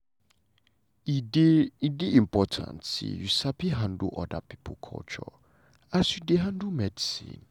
e dey e dey important say you sabi handle oda pipo culture as you dey handle medicine.